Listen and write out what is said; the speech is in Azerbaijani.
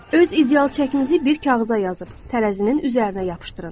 Öz ideal çəkinizi bir kağıza yazıb tərəzinin üzərinə yapışdırın.